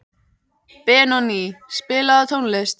Benóný, spilaðu tónlist.